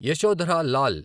Yashodhara Lal